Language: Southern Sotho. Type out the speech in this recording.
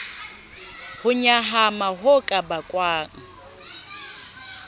ho nyahama ho ka bakwang